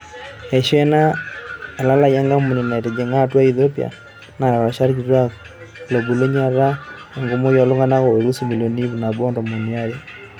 Eisho ena elalai enkampuni metijinga atua Ethiopia, naata rishat kituak lobulunye eeta enkumoki oltunganak oolus imilioni iip nabo o tomon aaare.